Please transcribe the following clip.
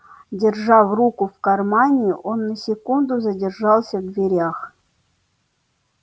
держа в руку в кармане он на секунду задержался в дверях